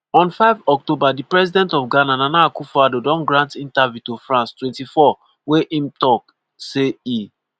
on 5 october di president of ghana nana akufo-addo don grant interview to france 24 wey im tok say e